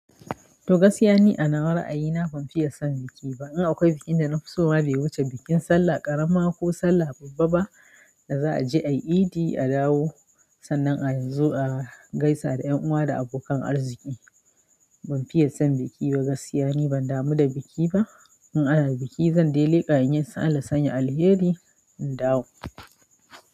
To gaskiya ni a nawa ra'ayi na ban fiye son biki ba. In akwai bikin da na fi so ma bai wuce bikin sallah ƙarama ko sallah babba ba da za a je a yi idi, a dawo sannan a zo a gaisa da ƴan uwa da abokan arziki. Ban fiye son biki ba gaskiya ne ban damu da biki ba. In ana biki zan de leƙa inyi, Allah sanya alheri in dawo.